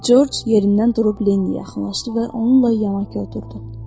Corc yerindən durub Leniə yaxınlaşdı və onunla yanaş oturdu.